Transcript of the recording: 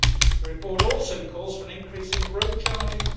The report also calls for an increase in road charging.